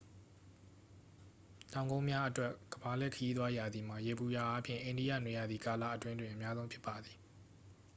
တောင်ကုန်းများအတွက် ကမ္ဘာလှည့်ခရီးသွားရာသီမှာ ယေဘုယျအားဖြင့် အိန္ဒိယနွေရာသီကာလအတွင်းတွင် အများဆုံးဖြစ်ပါသည်